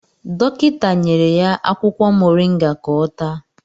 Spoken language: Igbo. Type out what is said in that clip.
Dọkịta nyere ya akwụkwọ moringa ka ọ taa